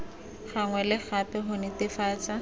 gangwe le gape go netefatsa